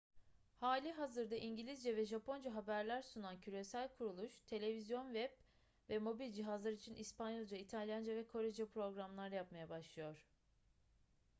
halihazırda i̇ngilizce ve japonca haberler sunan küresel kuruluş; televizyon web ve mobil cihazlar için i̇spanyolca i̇talyanca ve korece programlar yapmaya başlıyor